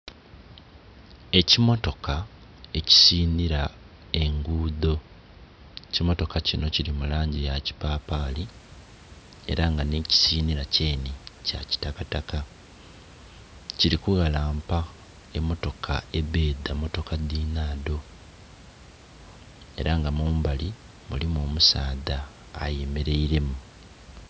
Ekimmotoka ekisinira engudho ekimotoka kino kiri mulangi yakipapali era nga nekisinira kyene kyakitakataka kiri kughalampa emmotoka ebedha mmotoka dhinhadho era nga mumbali mulimu omusaadha ayemeraire mu.